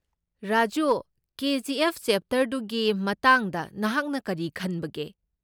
ꯔꯥꯖꯨ, ꯀꯦ. ꯖꯤ.ꯑꯦꯐ.ꯆꯞꯇꯔ ꯇꯨꯒꯤ ꯃꯇꯥꯡꯗ ꯅꯍꯥꯛꯅ ꯀꯔꯤ ꯈꯟꯕꯒꯦ?